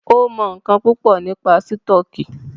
Ó mọ̀ ńńkan púpọ̀ nípa sítọ̀kì.